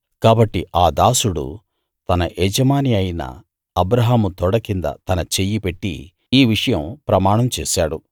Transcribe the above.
కాబట్టి ఆ దాసుడు తన యజమాని అయిన అబ్రాహాము తొడ కింద తన చెయ్యి పెట్టి ఈ విషయం ప్రమాణం చేశాడు